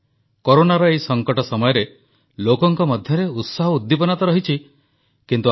ଆତ୍ମନିର୍ଭର Bharat app innovation ଚ୍ୟାଲେଞ୍ଜରେ ବିଜୟୀ ସ୍ୱଦେଶୀ ଆପଗୁଡ଼ିକର ବିଶେଷତା ସମ୍ପର୍କରେ ଉଲ୍ଲେଖ କଲେ ପ୍ରଧାନମନ୍ତ୍ରୀ